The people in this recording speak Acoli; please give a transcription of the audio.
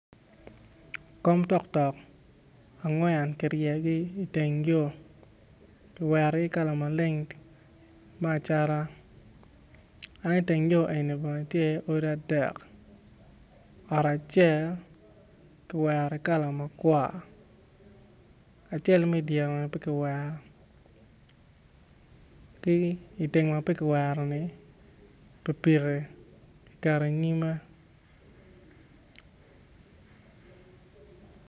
Kom toktok kiryeyogi iteng yo kiwerogi kala maleng me acata dok i teng yo eni tye iye odi adek ot acel ki wero ki kala makwar acel ma i dyere-ni pe kiwero ki i tenge ma pe kiwero-ni pikipiki kiketo i nyome.